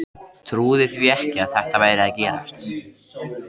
Trúði því ekki að þetta væri að gerast.